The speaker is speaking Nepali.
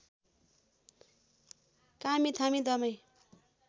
कामी थामी दमाईं